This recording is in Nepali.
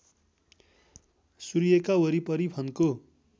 सूर्यका वरिपरि फन्को